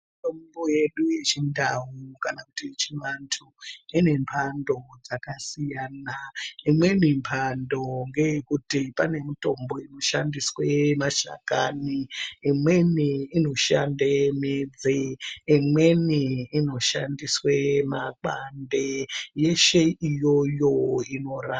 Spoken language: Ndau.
Mitombo yedu yechindau kana kuti yechiantu ine mhando dzakasiyana imweni mhando ngeyekuti pane mitombo inoshandiswe mashakani imweni inoshande midzi imweni inoshandiswe makwande yeshe iyoyo inora.